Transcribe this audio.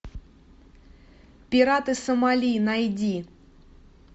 пираты сомали найди